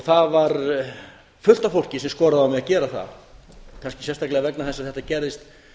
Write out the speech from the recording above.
það var fullt af fólki sem skoraði á mig að gera það kannski sérstaklega vegna þess að þetta gerðist